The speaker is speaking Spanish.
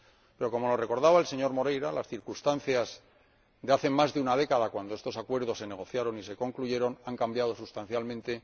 Pero como nos recordaba el señor Moreira, las circunstancias de hace más de una década, cuando estos acuerdos se negociaron y se concluyeron, han cambiado sustancialmente.